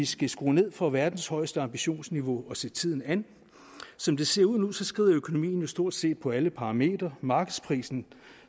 skal skrue ned for verdens højeste ambitionsniveau og se tiden an som det ser ud nu skrider økonomien jo stort set på alle parametre markedsprisen